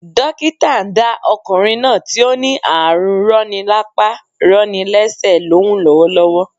Dókítà ndá okùnrin náà tí ó ní ààrù roni lápá roni lésè lóhùn lówó